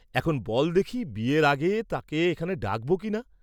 এখন বল্‌ দেখি বিয়ের আগে তাকে এখানে ডাকব কিনা?